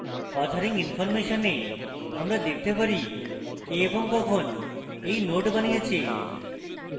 authoring information we আমরা দেখতে পারি কে এবং কখন এই node বানিয়েছে